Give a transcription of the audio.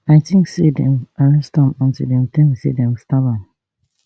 i tink say dem arrest am until dem tell me say dem stab am